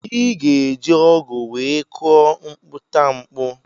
Iga eji ọgụ wee kụọ mkputamkpu.